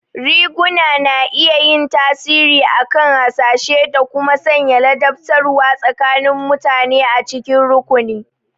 Riguna na iya yin tasiri akan hasashe da kuma sanya ladabtarwa tsakanin mutane a cikin rukuni.